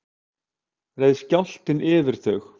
reið skjálftinn yfir þau